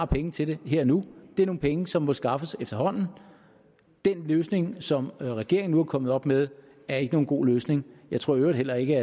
penge til det her og nu det er nogle penge som må skaffes efterhånden den løsning som regeringen nu er kommet op med er ikke nogen god løsning jeg tror i øvrigt heller ikke